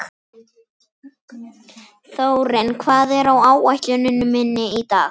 Þórinn, hvað er á áætluninni minni í dag?